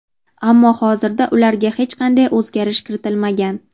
Ammo hozirda ularga hech qanday o‘zgarish kiritilmagan.